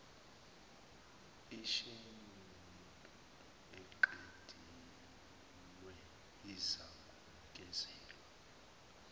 isheduli eqediwe izakunikezwa